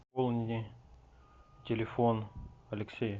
пополни телефон алексея